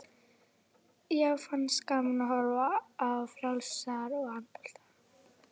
Já, finnst gaman að horfa á frjálsar og handbolta.